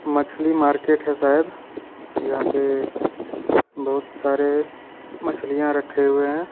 मछली मार्किट हे शायद जहा पे बहुत सारे मछलियां रखे हुए हे.